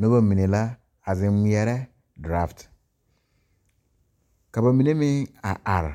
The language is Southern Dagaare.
Nobɔ mine a zeŋ ngmɛɛrɛ draft ka ba mine meŋ a are